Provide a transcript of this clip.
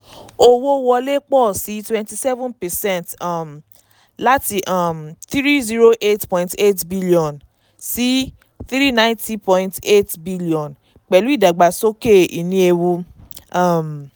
owó wọlé pọ̀ sí i twenty seven percent um láti um n three hundred eight point eight bn sí n three hundred ninety point eight bn pẹ̀lú ìdàgbàsókè ìní ewu. um